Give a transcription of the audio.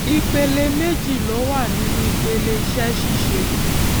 ìpele méjì ló wà nínú ìpele ìṣẹṣíṣe